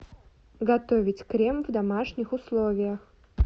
готовить крем в домашних условиях